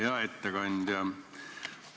Hea ettekandja!